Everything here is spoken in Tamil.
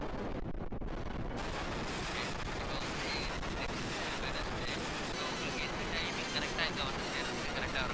okay இப்ப வந்து next wednesday so உங்களுக்கு எந்த timing correct ஆ இங்க வந்து சேர்றதுக்கு correct ஆ இருக்கும்.